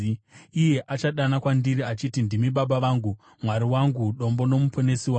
Iye achadana kwandiri, achiti, ‘Ndimi Baba vangu, Mwari wangu, Dombo noMuponesi wangu.’